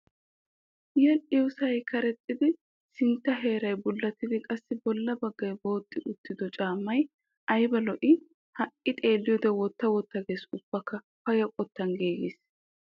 Yedhdhiyoosay karexxiddi sintta heeray bullattidi qassi bolla baggay booxxi uttido caammay ayba lo'ii. Ha'i xeelliyoode wotta wotta ges bawukka payya qottan giigis.